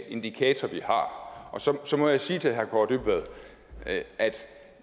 indikator vi har så så må jeg sige til herre kaare dybvad at